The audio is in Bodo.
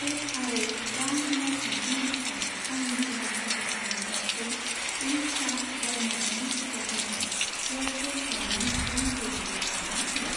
टेप आरो रां होनाय खान्थिनि थाखाय आंनि सिगां सायख'खानाय कार्डखौ उरिसा ग्राम्य बेंक बिकासनिफ्राय एयारटेल पेमेन्ट्स बेंक डेबिट कार्डआव सोलाय।